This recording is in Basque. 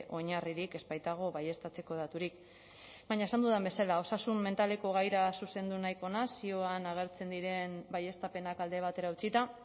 oinarririk ez baitago baieztatzeko daturik baina esan dudan bezala osasun mentaleko gaira zuzendu nahiko naiz zioan agertzen diren baieztapenak alde batera utzita